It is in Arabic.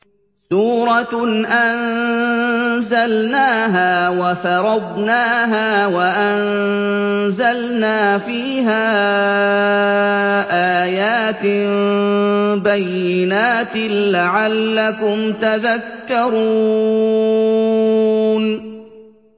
سُورَةٌ أَنزَلْنَاهَا وَفَرَضْنَاهَا وَأَنزَلْنَا فِيهَا آيَاتٍ بَيِّنَاتٍ لَّعَلَّكُمْ تَذَكَّرُونَ